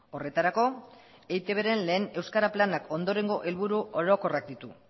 horretarako eitbren lehen euskara planak ondorengo helburu orokorrak ditu